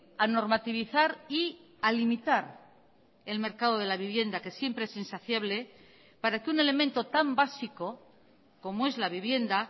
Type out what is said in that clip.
a normativizar y a limitar el mercado de la vivienda que siempre es insaciable para que un elemento tan básico como es la vivienda